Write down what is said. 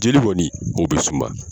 Jeli kɔni o bɛ suma.